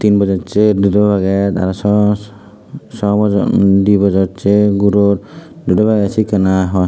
tin bojossey dudo peget aro so so bojo di bojossey guror dudo peget sekken ai hw.